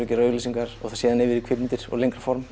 að gera auglýsingar og síðan yfir í kvikmyndir og lengra formaður